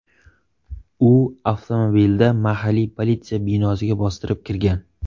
U avtomobilda mahalliy politsiya binosiga bostirib kirgan.